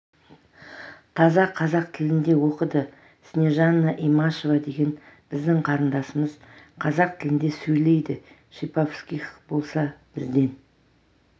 таза қазақ тілінде оқыды снежанна имашева деген біздің қарындасымыз қазақ тілінде сөйлейді шиповских болса бізден